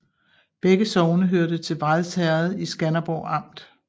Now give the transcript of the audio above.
Begge sogne hørte til Vrads Herred i Skanderborg Amt